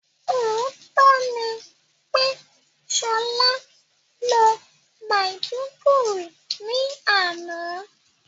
Òótọ́ ni pé Ṣọlá lọ Maiduguri ní àná